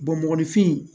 mɔgɔninfin